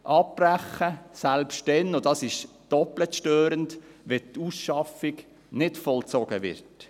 Abbrechen, selbst dann – und das ist doppelt störend –, wenn die Ausschaffung nicht vollzogen wird.